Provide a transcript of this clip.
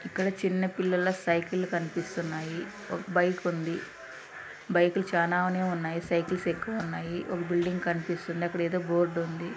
ఇక్కడ చిన్న పిల్లల సైకిళ్ళు కనిపిస్తున్నాయి ఒక బైక్ ఉంది బైకులు చాలానే ఉన్నాయి సైకిల్స్ ఎక్కువ ఉన్నాయ్ ఒక బిల్డింగ్ కనిపిస్తుంది అక్కడేదో బోర్డ్ ఉంది.